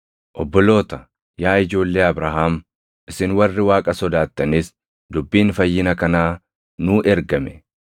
“Obboloota, yaa ijoollee Abrahaam, isin warri Waaqa sodaattanis, dubbiin fayyina kanaa nuu ergame.